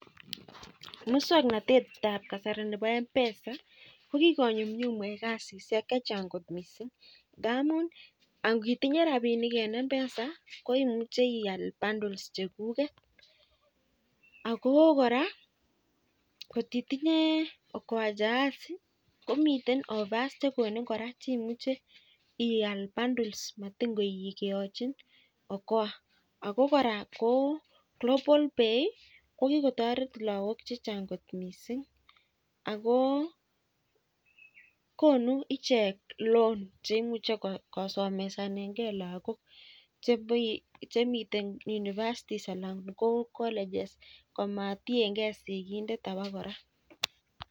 Mukswanotet tab kasari nebo mpesa kokiko nyumnyumit kasishek chechang kot missing, ngamun atitinye rabinik en mpesa koimuche ihale bundles cheguget ago kora atitinye okoa jahazi komiten offers chegonin kora cheimuche ial bundles kora matinye keachin okoa Ako kora global pay ih ko kikotaret lakok chechang kot missing ako Koni icheket loan cheimuche kosomesanen ke lakok chemiten university ana ko college komakienge sikindet abokora